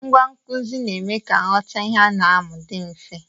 Ngwa nkụzi na-eme ka nghọta ihe a na-amụ dị mfe.